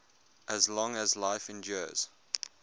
as long as life endures